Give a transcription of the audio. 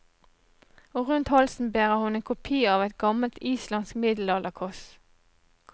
Og rundt halsen bærer hun en kopi av et gammelt islandsk middelalderkors.